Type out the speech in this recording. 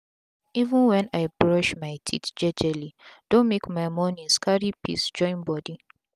even wen i brush my teeth jejeli don make my mornings cari peace join bodi.